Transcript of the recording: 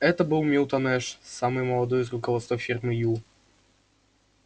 это был милтон эш самый молодой из руководства фирмы ю